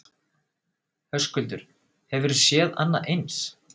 Höskuldur: Hefurðu séð annað eins?